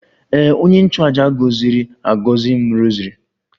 Ee, onye nchụàjà gọziri agọzi m rosary